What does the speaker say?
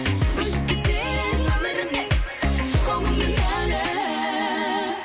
өшіп кетсең өмірімнен ол күн кінәлі